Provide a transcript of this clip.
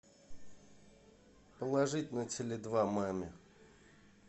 положить на теле два маме